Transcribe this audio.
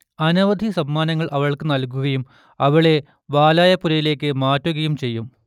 അനവധി സമ്മാനങ്ങൾ അവൾക്ക് നൽകുകയും അവളെ വാലായപ്പുരയിലേക്ക് മാറ്റുകയും ചെയ്യും